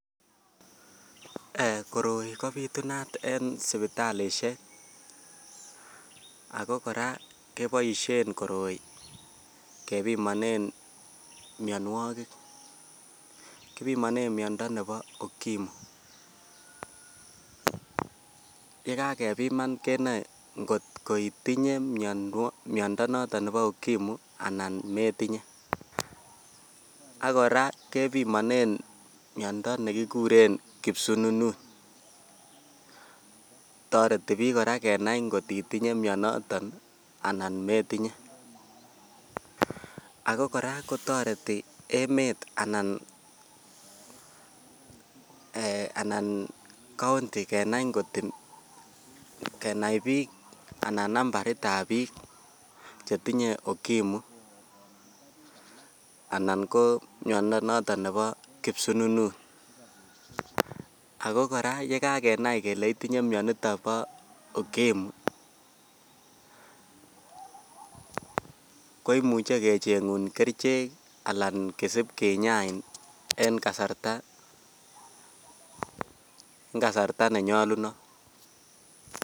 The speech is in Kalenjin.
Koroi kobitunat en sipitalishek ako Koraa keboishen koroi kepimonen mionwokik, kipimonen miondo nebo ukimu, yekakepiman kenoi kotko itinyee miondo noton nebo okimu anan metinyee ak Koraa ak Koraa kepimonen miondo nekikuren kipsununut, toreti bik Koraa kenai kotitinye mioniton anan metinyee. Ako Koraa kotoretin emet anan eeh anan county kenai kot kenai bik anan nambaritab bik chetinye okimu anan ko miondo noton nebo kipsununut, ako Koraa yekakenai kele itinye mioniton bo ukimu ko imuche kechengu kerichek alan kisib kinyain en kasarta kasarta nenyolunot.